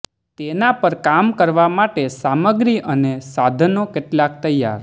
તેના પર કામ કરવા માટે સામગ્રી અને સાધનો કેટલાક તૈયાર